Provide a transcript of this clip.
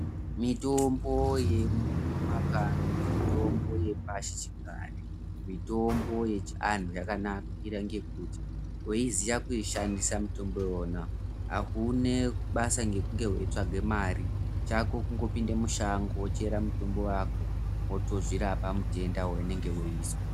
Mitombo yemumakanyi mitombo yepashi chigare mitombo yechiandu yakanakira kuti weiziya kuishandisa mitombo yakona akuna basa nekunge weitsvage mare chako kupinda mushango wochera mutombo wako wotozvirapa chitenda chaunenge uchizwa.